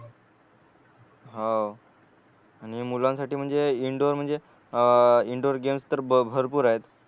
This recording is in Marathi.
हो आणि मुलांसाठी म्हणजे इंडोर म्हणजे अ इंडोर गेम्स तर भरपूर आहेत